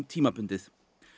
tímabundið